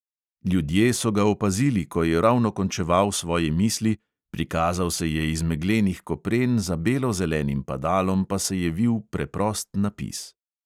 Ljudje so ga opazili, ko je ravno končeval svoje misli, prikazal se je iz meglenih kopren, za belo-zelenim padalom pa se je vil preprost napis.